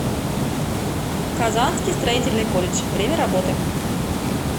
казанский строительный колледж время работы